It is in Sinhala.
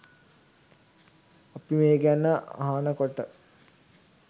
අපි මේ ගැන අහනකොට